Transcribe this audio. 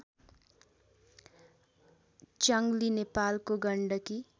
च्य्ङली नेपालको गण्डकी